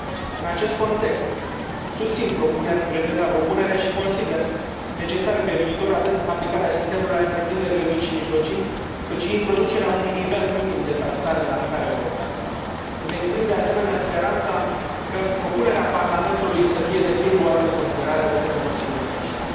În acest context susțin prezenta propunere și consider necesare pe viitor atât aplicarea sistemului la întreprinderile mici și mijlocii, cât și introducerea unui nivel minim de taxare la scară europeană. Îmi exprim, de asemenea, speranța ca propunerea Parlamentului să fie pe deplin luată în considerare de către Consiliul de miniștri.